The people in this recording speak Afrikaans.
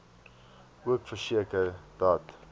ook verseker dat